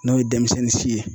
N'o ye denmisɛnnin si ye.